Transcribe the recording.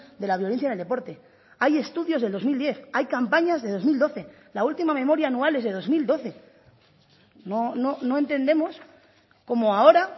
de la violencia en el deporte hay estudios de dos mil diez hay campañas de dos mil doce la última memoria anual es de dos mil doce no entendemos cómo ahora